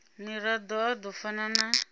mirado a do fana na